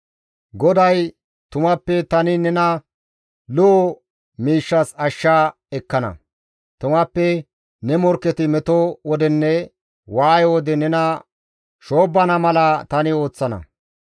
GODAY, «Tumappe tani nena lo7o miishshas ashsha ekkana; Tumappe ne morkketi meto wodenne waaye wode nena shoobbana mala tani ooththana.